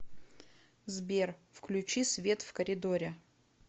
сбер включи свет в коридоре